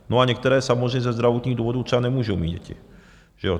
No a některé samozřejmě ze zdravotních důvodů třeba nemůžou mít děti.